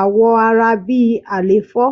awọ ara bi àléfọ